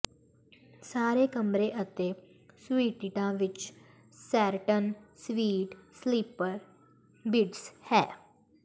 ਸਾਰੇ ਕਮਰੇ ਅਤੇ ਸੁਈਟਿਟਾਂ ਵਿੱਚ ਸੈਰਟਨ ਸਵੀਟ ਸਲੀਪਰ ਬਿਡਸ ਹੈ